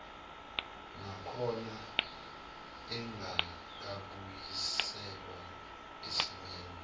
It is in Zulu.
nakhona engakabuyiselwa esimeni